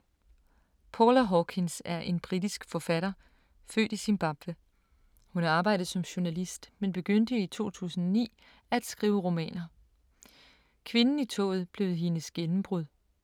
Paula Hawkins er en britisk forfatter, født i Zimbabwe. Hun har arbejdet som journalist, men begyndte i 2009 at skrive romaner. Kvinden i toget blev hendes gennembrud.